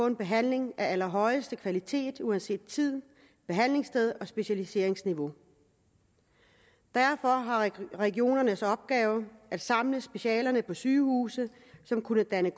en behandling af allerhøjeste kvalitet uanset tid behandlingssted og specialiseringsniveau derfor var regionernes opgave at samle specialerne på sygehuse som kunne danne